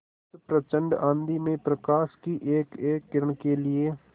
उस प्रचंड आँधी में प्रकाश की एकएक किरण के लिए